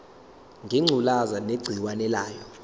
ngengculazi negciwane layo